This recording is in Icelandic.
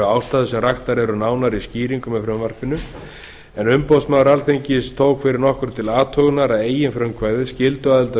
ástæður sem raktar eru nánar í skýringum með frumvarpinu en umboðsmaður alþingis tók fyrir nokkru til athugunar að eigin frumkvæði skylduaðild